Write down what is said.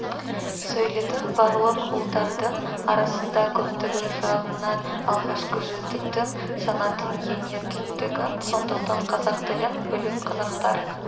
сөйлейтін барлық ұлттардың арасында көптігі жағынан алғашқы жүздіктің санатына енетіндігін сондықтан қазақ тілін білу қазақтар